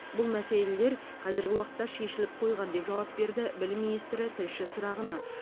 бұл мәселелер қазіргі уақытта шешіліп қойған деп жауап берді білім министрі тілші сұрағына